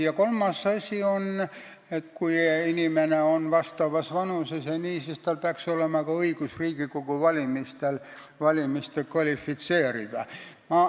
Ja kolmas asi on, et kui inimene on vastavas vanuses, siis peaks tal olema ka õigus Riigikogu valimistele kvalifitseeruda.